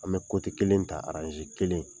An bɛ kote kelen ta aranze kelenƆ